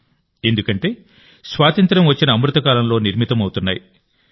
ఎందుకంటే స్వాతంత్ర్యం వచ్చిన అమృత కాలంలో నిర్మితమవుతున్నాయి కాబట్టి